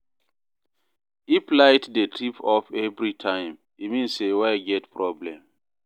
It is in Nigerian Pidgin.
If light dey trip off every time, e mean say wire get problem.